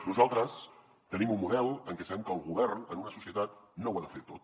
nosaltres tenim un model en què sabem que el govern en una societat no ho ha de fer tot